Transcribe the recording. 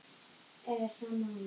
Er það málið?